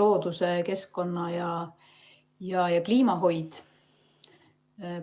looduse-, keskkonna- ja kliimahoid.